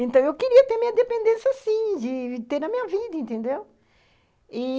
Então, eu queria ter minha dependência assim, de ter a minha vida, entendeu? e...